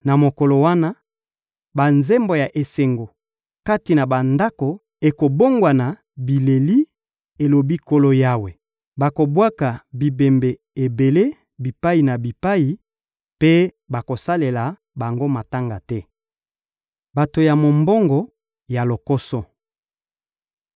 Na mokolo wana, banzembo ya esengo kati na bandako ekobongwana bileli, elobi Nkolo Yawe. Bakobwaka bibembe ebele bipai na bipai mpe bakosalela bango matanga te. Bato ya mombongo ya lokoso